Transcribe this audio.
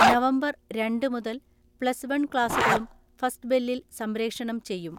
November രണ്ട് മുതൽ plus one ക്ലാസുകളും ഫസ്റ്റ്ബെല്ലിൽ സംപ്രേഷണം ചെയ്യും.